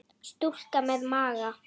Stúlka með maga.